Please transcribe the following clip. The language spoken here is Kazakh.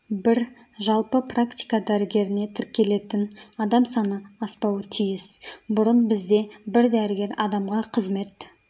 бір жалпы практика дәрігеріне тіркелетін адам саны аспауы тиіс бұрын бізде бір дәрігер адамға қызмет